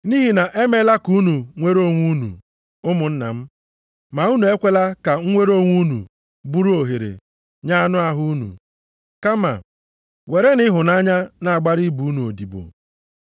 Nʼihi na e meela ka unu nwere onwe unu, ụmụnna m, ma unu ekwela ka mnwere onwe unu bụrụ ohere nye anụ ahụ unu, kama werenụ ịhụnanya na-agbara ibe unu odibo.